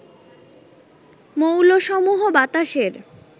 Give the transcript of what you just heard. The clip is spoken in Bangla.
মৌলসমূহ বাতাসের